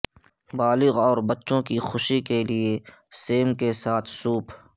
بالغ اور بچوں کی خوشی کے لئے سیم کے ساتھ سوپ